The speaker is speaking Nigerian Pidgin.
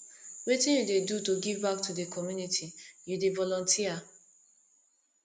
wetin you dey do to give back to di community you dey volunteer